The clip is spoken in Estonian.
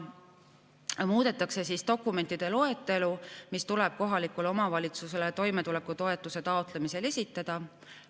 Muudetakse dokumentide loetelu, mis tuleb kohalikule omavalitsusele toimetulekutoetuse taotlemisel esitada.